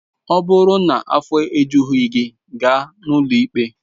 Ọ bụrụ na afọ ejughị gị, gaa n'ụlọ ikpe!